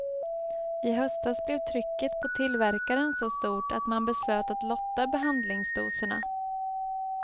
I höstas blev trycket på tillverkaren så stort att man beslöt att lotta behandlingsdoserna.